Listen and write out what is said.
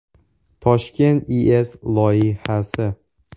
Toshkent IES loyihasi.